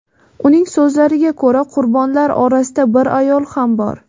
Uning so‘zlariga ko‘ra, qurbonlar orasida bir ayol ham bor.